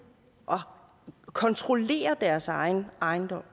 at kontrollere deres egen ejendom